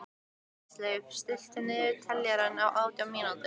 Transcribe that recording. Ísleif, stilltu niðurteljara á átján mínútur.